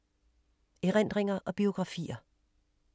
Erindringer og biografier